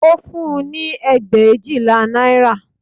Ó fún-un ní ẹgbẹ̀éjìlá náírà